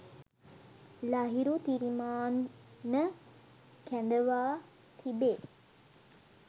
ලහිරු තිරිමාන්න කැඳවා තිබේ.